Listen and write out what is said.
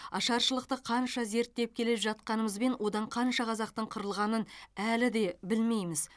ашаршылықты қанша зерттеп келе жатқанымызбен одан қанша қазақтың қырылғанын әлі де білмейміз